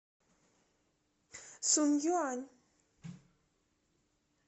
сунъюань